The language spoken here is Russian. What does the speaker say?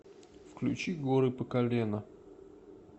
включи горы по колено